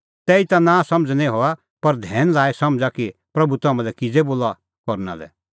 तैहीता नांसमझ़ निं हआ पर धैन लाई समझ़ा कि प्रभू तम्हां लै किज़ै बोला करना लै